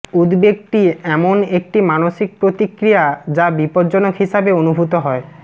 উদ্বেগটি এমন একটি মানসিক প্রতিক্রিয়া যা বিপজ্জনক হিসাবে অনুভূত হয়